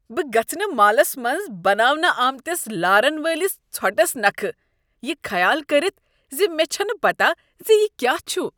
بہٕ گژھہٕ نہٕ مالس منٛز بناونہٕ آمٕتِس لارن وٲلِس ژھۄٹس نكھہٕ یہ خیال کٔرتھ ز مےٚ چھنہٕ پتہ ز یہ کیا چھُ۔